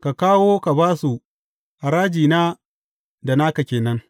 Ka kawo ka ba su, harajina da naka ke nan.